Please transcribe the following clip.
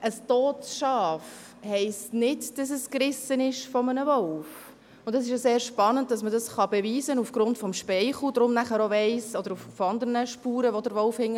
Ein totes Schaf heisst nicht, dass es von einem Wolf gerissen wurde, und es ist sehr spannend, dass man das aufgrund des Speichels oder anderer Spuren, die der Wolf hinterlässt, beweisen kann.